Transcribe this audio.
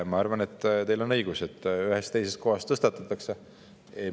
Ma arvan, et teil on õigus, et ühes või teises kohas tõstatatakse.